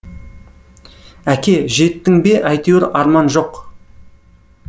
әке жеттің бе әйтеуір арман жоқ